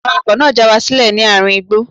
Awakọ̀ náà já wa sílẹ̀ ní àárín igbó.